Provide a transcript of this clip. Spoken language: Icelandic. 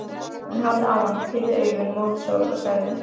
Hún horfði á hann, pírði augun mót sól og sagði: